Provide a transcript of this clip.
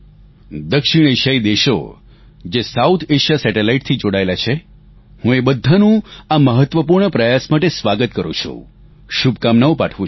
દક્ષિણ એશિયાઈ દેશો જે સાઉથ એએસઆઇએ સેટેલાઇટ થી જોડાયેલા છે હું એ બધાનું આ મહત્વપૂર્ણ પ્રયાસ માટે સ્વાગત કરું છું શુભકામના પાઠવું છું